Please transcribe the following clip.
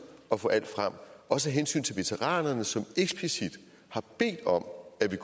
at få alt frem også af hensyn til veteranerne som eksplicit har bedt om at vi